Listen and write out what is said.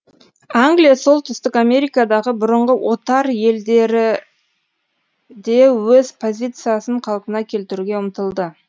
англия солтүстік америкадағы бұрынғы отар елдері де өз позициясын қалпына келтіруге ұмтылды